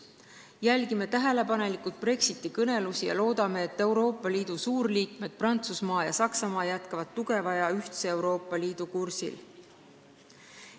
Jälgime tähelepanelikult Brexiti-kõnelusi ja loodame, et liidu suurliikmed Prantsusmaa ja Saksamaa jätkavad tugeva ja ühtse Euroopa Liidu kursil.